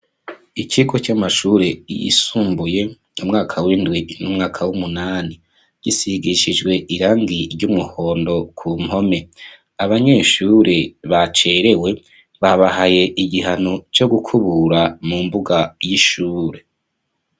Ikigo c'amashure yisumbuye umwaka w'indwi n'umwaka w'umunani. Gisigishijwe irangi ry'umuhondo ku mpome. Abanyeshure bacerewe, babahaye igihano co gukubura mu mbuga y'ishure.